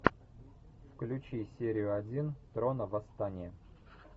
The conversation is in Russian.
включи серию один трона восстание